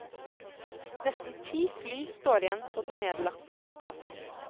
Nesten ti fly står igjen på den nedlagte flyplassen.